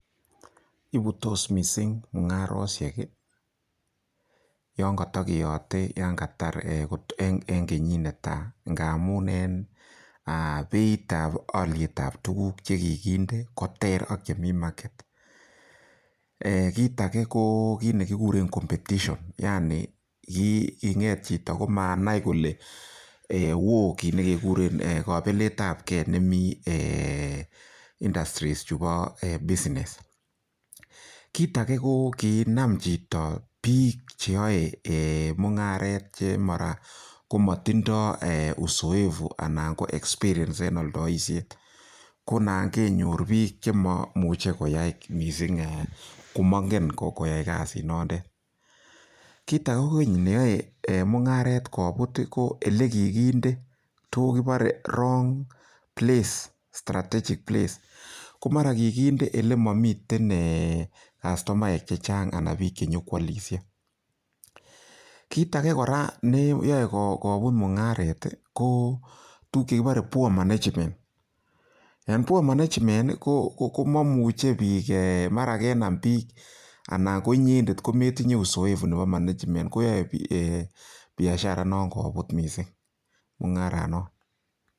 Chigilet komuche koyaa missing -Chigilisietab kokisich kole en mungarok taman, ko sisit kobutos en arawek chetai taman ak sisit.